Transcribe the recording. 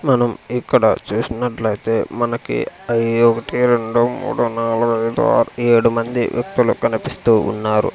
మనం ఇక్కడ చూసినట్లయితే మనకి అయ్ ఒకటి రెండు మూడు నాలుగు ఐదు ఆరు ఏడు మంది వ్యక్తులు కనిపిస్తూ ఉన్నారు.